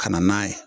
Ka na n'a ye